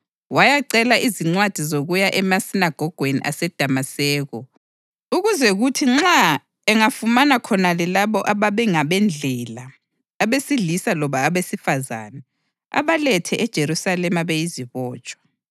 wayacela izincwadi zokuya emasinagogweni aseDamaseko, ukuze kuthi nxa engafumana khonale labo abangabeNdlela, abesilisa loba abesifazane, abalethe eJerusalema beyizibotshwa.